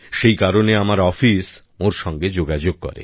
সেই কারণে আমার অফিস ওঁর সঙ্গে যোগাযোগ করে